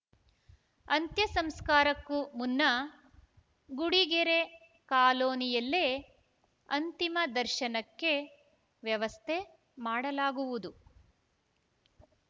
ಅಂತ್ಯಸಂಸ್ಕಾರಕ್ಕೂ ಮುನ್ನ ಗುಡಿಗೆರೆ ಕಾಲೋನಿಯಲ್ಲೇ ಅಂತಿಮ ದರ್ಶನಕ್ಕೆ ವ್ಯವಸ್ಥೆ ಮಾಡಲಾಗುವುದು